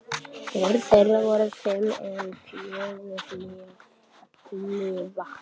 Börn þeirra voru fimm en fjögur lifa.